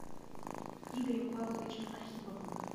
игорем павловичем архиповым